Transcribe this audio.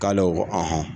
K'ale ko